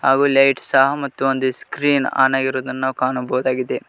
ಹಾಗು ಲೈಟ್ ಸಹ ಮತ್ತು ಒಂದು ಸ್ಕ್ರೀನ್ ಆನ್ ಆಗಿರುವುದನ್ನು ನಾವು ಕಾಣಬಹುದಾಗಿದೆ.